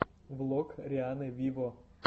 влог рианны виво